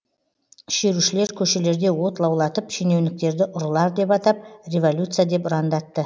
шерушілер көшелерде от лаулатып шенеуніктерді ұрылар деп атап революция деп ұрандатты